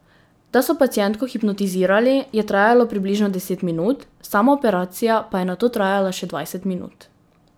Da so pacientko hipnotizirali, je trajalo približno deset minut, sama operacija pa je nato trajala še dvajset minut.